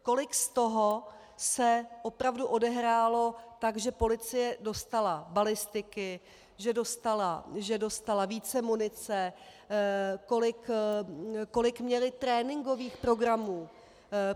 Kolik z toho se opravdu odehrálo tak, že policie dostala balistiky, že dostala více munice, kolik měli tréninkových programů?